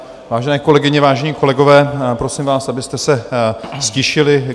Vážené kolegyně, vážení kolegové, prosím vás, abyste se ztišili.